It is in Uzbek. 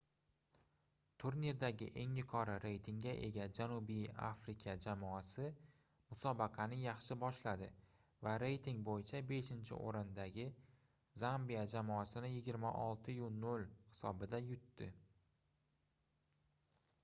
turnirdagi eng yuqori reytingga ega janubiy afrika jamoasi musobaqani yaxshi boshladi va reyting boʻyicha 5-oʻrindagi zambiya jamoasini 26:00 hisobida yutdi